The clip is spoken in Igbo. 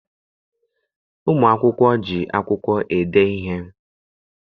Ụmụ akwụkwọ ji akwụkwọ ede ihe.